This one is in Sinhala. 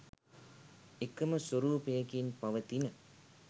එකම ස්වරූපයකින් පවතින